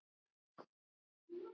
Karen: Gerir þú góðverk?